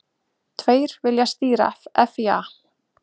Tveir vilja stýra FÍA